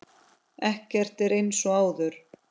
Ekkert er eins og áður.